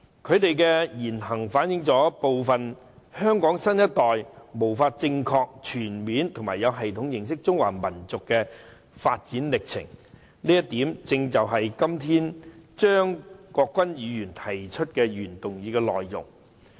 他們的言行反映部分香港新一代無法正確、全面及有系統地認識中華民族的發展歷程，這一點正是張國鈞議員今天提出的原議案的內容。